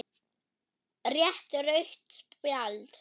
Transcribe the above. Rétt rautt spjald?